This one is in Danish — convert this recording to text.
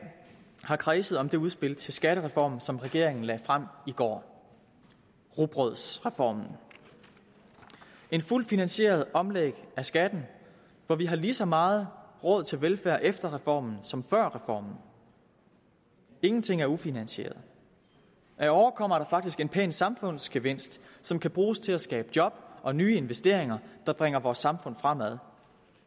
har kredset om det udspil til skattereform som regeringen lagde frem i går rugbrødsreformen en fuldt finansieret omlægning af skatten hvor vi har lige så meget råd til velfærd efter reformen som før reformen ingenting er ufinansieret ad åre kommer der faktisk en pæn samfundsgevinst som kan bruges til at skabe job og nye investeringer der bringer vores samfund fremad